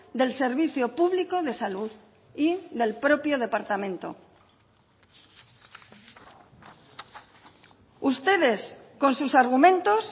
del servicio público de salud y del propio departamento ustedes con sus argumentos